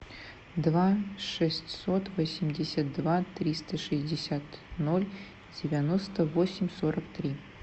два шестьсот восемьдесят два триста шестьдесят ноль девяносто восемь сорок три